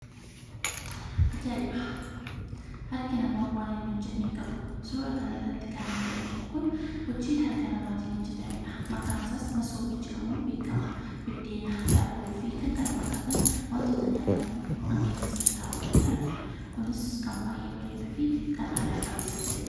Ajaa'iba! Harki namaa waan inni hinhojjenne hinjiru. Suura kana irratti kan arginu kun hojii harka namaatin hojjetamedha. Maqaan isaas "Masoobii" jedhamuun beekama. Biddeena, daabboofi kan kana fakkaatan wantoota nyaataman keessa taa'uu danda'anidha. Kunis kan baay'ee bareeduufi kan aadaa qabeessa ta'edha.